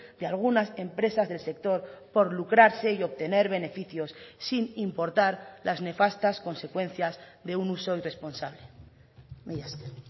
de algunas empresas del sector por lucrarse y obtener beneficios sin importar las nefastas consecuencias de un uso irresponsable mila esker